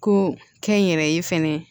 Ko kɛ n yɛrɛ ye fɛnɛ